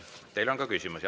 Teile on ka küsimusi.